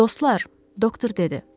Dostlar, doktor dedi.